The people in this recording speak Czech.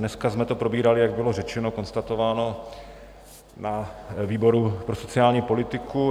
Dneska jsme to probírali, jak bylo řečeno, konstatováno, na výboru pro sociální politiku.